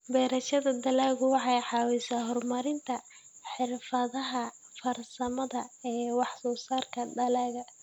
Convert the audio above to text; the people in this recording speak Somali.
Beerashada dalaggu waxay caawisaa horumarinta xirfadaha farsamada ee wax-soo-saarka dalagga.